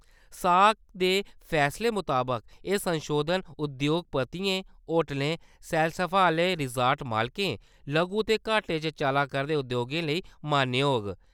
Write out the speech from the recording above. ऐस्सएसी दे फैसले मताबक एह् संशोधन उद्योगपतियें, होटलें, सैलसफा आह्‌ले रिसार्ट मालकें, निक्के ते घाटे च चला करदे उद्योगें लेई मान्य होग।